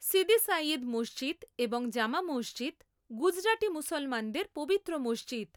সিদি সাইয়েদ মসজিদ এবং জামা মসজিদ গুজরাটি মুসলমানদের পবিত্র মসজিদ।